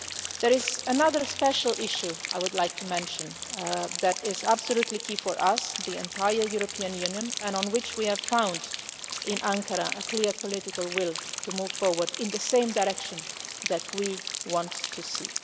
share. There is another special issue that I would like to mention which is absolutely key for us, the entire European Union, and on which we have found a clear political will in Ankara to move forward in the direction that we want